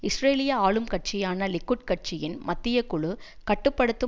இஸ்ரேலிய ஆளும் கட்சியான லிக்குட் கட்சியின் மத்திய குழு கட்டு படுத்தும்